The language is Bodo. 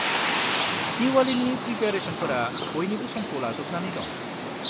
दिवालीनि प्रिपेआरेसनफोरा बयनिबो समखौ लाजोबनानै दं।